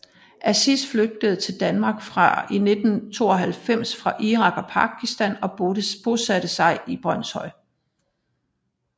Aziz flygtede til Danmark i 1992 fra Irak og Pakistan og bosatte sig i Brønshøj